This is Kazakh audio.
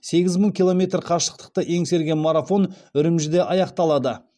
сегіз мың километр қашықтықты еңсерген марафон үрімжіде аяқталады